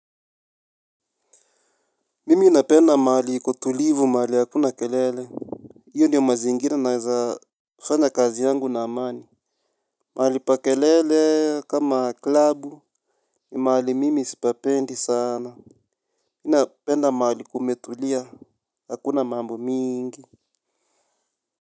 Mimi napenda mahali iko tulivu mahali hakuna kelele, iyo ndiyo mazingira naeza fanya kazi yangu na amani. Mahali pa kelele kama klabu ni mahali mimi sipapendi sana. Mi napenda mahali kumetulia hakuna mambo mingi.